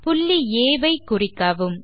புள்ளி ஆ வை குறிக்கவும்